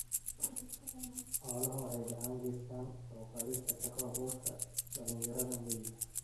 Xooluhu waxay gacan ka geystaan ??kor u qaadista shaqo abuurka dhalinyarada miyiga.